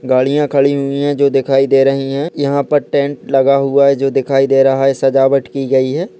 गाड़ियां खड़ी हुई हैं जो दिखाई दे रही है यहाँ पे टेंट लगा हुआ है जो दिखाई दे रहा है सजावत की गाई है।